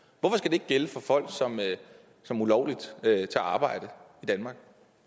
ikke gælde for folk som ulovligt tager arbejde i danmark